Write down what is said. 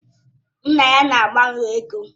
Nna ya na agbanwe ego.